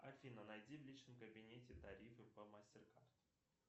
афина найди в личном кабинете тарифы по мастер карт